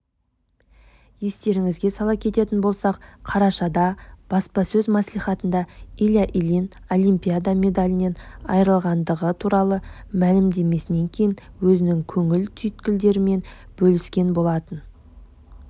естеріңізге сала кететін болсақ қарашада баспасөз маслихатында илья ильин олимпида медалінен айырғандығы туралы мәлімдемесінен кейін өзінің көңіл түйткілдерімен бөліскен болатын